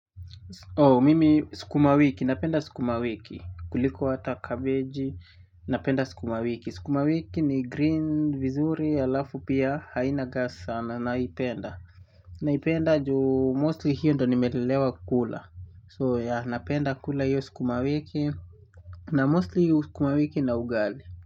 Oo mimi sukumawiki napenda sukumawiki kuliko hata kabeji napenda sukumawiki sukumawiki ni green vizuri alafu pia haina gas sana naipenda naipenda juu mostly hiyo ndo nimelelewa kula so ya napenda kula hiyo sukumawiki na mostly hiyo sukumawiki na ugali.